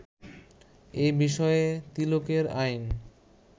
এ বিষয়ে তিলকের আইন